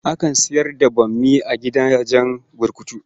Akan sayar da bammi a gidajen burkutu.